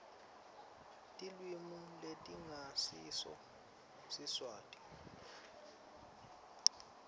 tilwimi letingasiso siswati